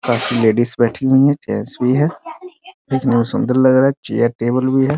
काफी लेडीज भी बैठी हुई हैं चेयर्स भी हैं देखने में सुन्दर लग रहा है चेयर - टेबल भी हैं ।